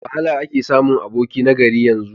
Da wahala ake samun aboki na gari a yanzu.